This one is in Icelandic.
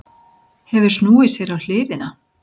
Hefur snúið sér á hliðina.